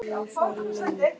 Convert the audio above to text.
Biðin var löng.